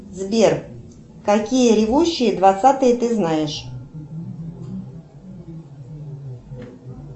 сбер какие ревущие двадцатые ты знаешь